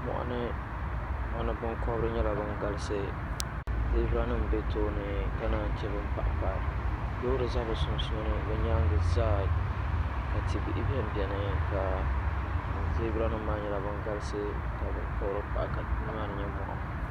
Moɣuni binkobiri nyela ban galisi zibiranim biɛ tooni ka nan che ban pahipahi loori za bɛ sunsuuni bɛ nyaaŋa zaa ka tibihi binibini ka zibiranim maa nyela bin galisi ka binkobiri pahi ka nimaa ni nye moɣu.